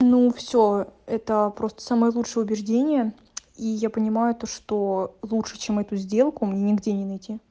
ну всё это просто самое лучшее убеждение и я понимаю то что лучше чем эту сделку мне нигде не найти